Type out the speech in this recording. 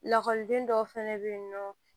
Lakɔliden dɔw fɛnɛ bɛ yen nɔ